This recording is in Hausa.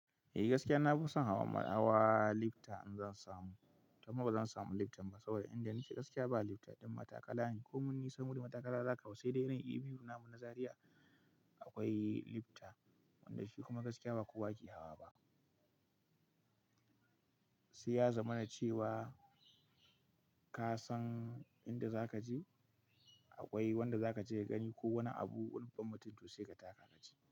Eh gaskiya na fi son hawa lifta in zan samu, amma ba zan samu lifta ba saboda inda nake gaskiya ba lifta, ɗan mataƙalani ko mun isa wurin matakara za ka hau, sai dai irin ABU na mu na Zariya akwai lifta wanda shi kuma gaskiya ba kowa ke hawa ba. Sai ya zamana cewa ka san inda za ka je, akwai wanda za ka je ka gani ko wani abu ko babban mutum to sai ka taka ka je.